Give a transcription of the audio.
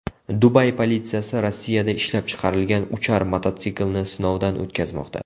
Dubay politsiyasi Rossiyada ishlab chiqarilgan uchar mototsiklini sinovdan o‘tkazmoqda .